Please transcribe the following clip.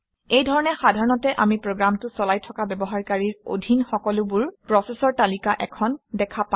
এই ধৰণে সাধাৰণতে আমি প্ৰগামটো চলাই থকা ব্যৱহাৰকাৰীৰ অধীন সকলোবোৰ প্ৰচেচৰ তালিকা এখন দেখা পাওঁ